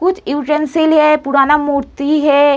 कुछ पुराना मूर्ति है।